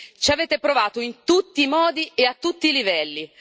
Ci avete provato in tutti i modi e a tutti i livelli.